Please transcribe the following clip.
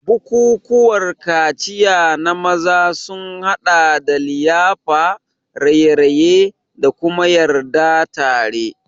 Bukukuwan kaciya na maza sun haɗa da liyafa, raye-raye, da kuma yarda tare.